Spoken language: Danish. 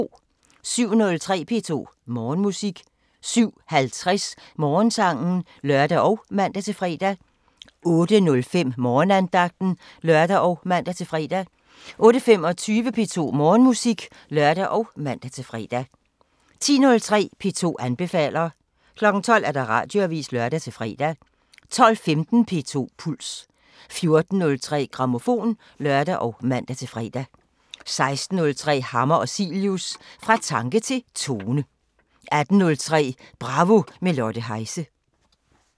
07:03: P2 Morgenmusik 07:50: Morgensangen (lør og man-fre) 08:05: Morgenandagten (lør og man-fre) 08:25: P2 Morgenmusik (lør og man-fre) 10:03: P2 anbefaler 12:00: Radioavisen (lør-fre) 12:15: P2 Puls 14:03: Grammofon (lør og man-fre) 16:03: Hammer og Cilius – Fra tanke til tone 18:03: Bravo – med Lotte Heise